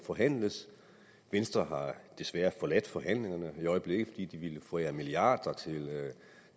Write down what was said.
forhandles venstre har desværre forladt forhandlingerne i øjeblikket fordi de ville forære milliarder til